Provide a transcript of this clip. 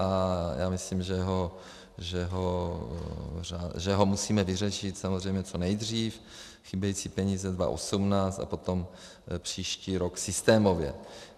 A já myslím, že ho musíme vyřešit samozřejmě co nejdřív, chybějící peníze 2018 a potom příští rok systémově.